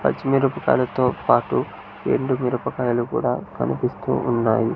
పచ్చి మిరపకాయలతో పాటు ఎండు మిరపకాయలు కూడా కనిపిస్తూ ఉన్నాయి.